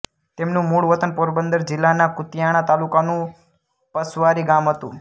તેમનું મુળવતન પોરબંદર જિલ્લાના કુતિયાણા તાલુકાનું પસવારી ગામ હતું